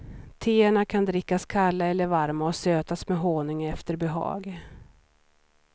Teerna kan drickas kalla eller varma och sötas med honung efter behag.